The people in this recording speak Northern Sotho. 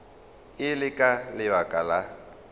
e le ka lebaka la